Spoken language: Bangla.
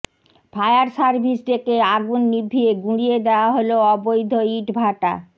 ফায়ার সার্ভিস ডেকে আগুন নিভিয়ে গুঁড়িয়ে দেওয়া হল অবৈধ ইটভাটা